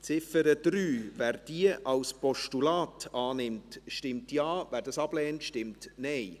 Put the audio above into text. Wer die Ziffer 3 als Postulat annimmt, stimmt Ja, wer dies ablehnt, stimmt Nein.